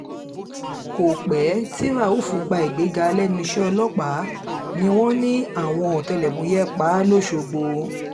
kò pẹ́ tí rauf gba ìgbéga lẹ́nu iṣẹ́ ọlọ́pàá ni wọ́n ní àwọn ọ̀tẹlẹ̀múyẹ́ pa á lọ́sọ̀gbò